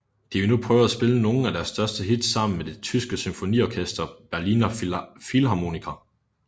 De ville nu prøve at spille nogen af deres største hits sammen med det tyske symfoniorkester Berliner Philharmoniker